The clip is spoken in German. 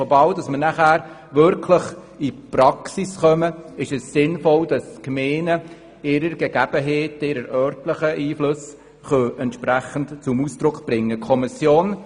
In der Praxis kann es sinnvoll sein, wenn die Gemeinden ihre Gegebenheiten und örtlichen Einflüsse entsprechend zum Ausdruck bringen können.